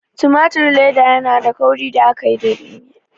Tumatir leda yanada kauri da aka yi daga tumatir.